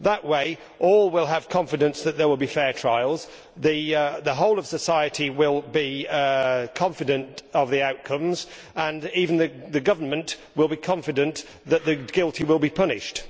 That way, all will have confidence that there will be fair trials, the whole of society will be confident of the outcomes, and even the government will be confident that the guilty will be punished.